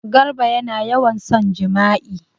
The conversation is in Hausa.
Garba yana yawan son jima'i.